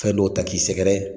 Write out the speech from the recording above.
Fɛn dɔw ta k'i sɛgɛrɛ